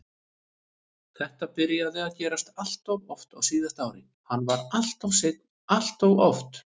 Þetta byrjaði að gerast alltof oft á síðasta ári, hann var alltof seinn alltof oft.